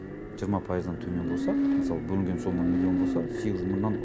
жиырма пайыздан төмен болса мысалы бөлінген сомма миллион болса сегіз жүз мыңнан